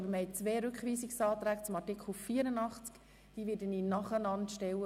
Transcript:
Die beiden Rückweisungsanträge zu Artikel 84 werde ich nacheinander stellen.